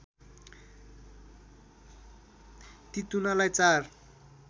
ती तुनालाई चार